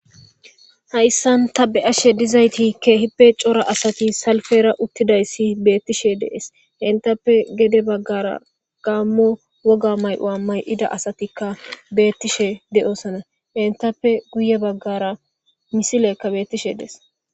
Hayssan tabe ashe dizayti keehippe cora asati salfera uttidayssi beettishe dees entappe gede baggara gaammo woga may'oa may'ida asatikka beettishe de'osana entappe guye baggara misilekka beettishe dees.